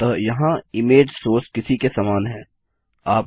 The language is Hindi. अतः यहाँ इमेज सोर्स इमेज सोर्स किसी के समान है